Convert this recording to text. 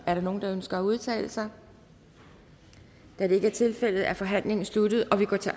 er der nogen der ønsker at udtale sig da det ikke er tilfældet er forhandlingen sluttet og vi går til